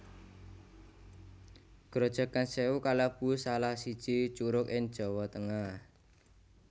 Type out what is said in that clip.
Grojogan Sèwu kalebu salah siji curug ing Jawa Tengah